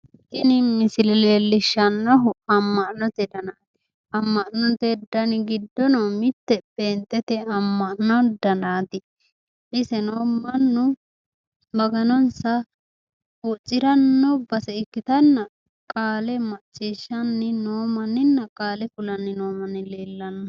Tini misile leelishannohu ama'note danati ama'note dani giddono mite penixete ama'no danaati iseno mannu maganonisa huuciranno base ikkitana qaale maciishanni noo mannina qaale kulanni noo manni leellanno